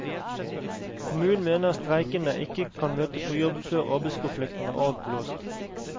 Kommunen mener streikende ikke kan møte på jobb før arbeidskonflikten er avblåst.